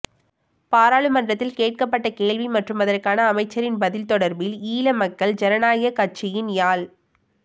பாராளுமன்றத்தில் கேட்கப்பட்ட கேள்வி மற்றும் அதற்கான அமைச்சரின் பதில் தொடர்பில் ஈழமக்கள் ஜனநாயக கட்சியின் யாழ்